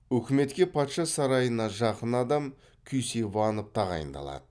үкіметке патша сарайына жақын адам кюсейванов тағайындалады